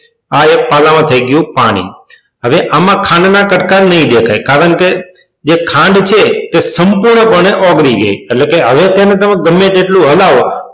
આ એક પાલામાં થઈ ગયું પાણી હવે આમાં ખાંડના કટકા નહીં દેખાય કારણ કે જે ખાંડ છે તે સંપૂર્ણપણે ઓગળી ગઈ છે. હવે તમે ગમે તેટલો હલાવો,